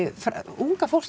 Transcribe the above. unga fólkið